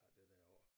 Og det der af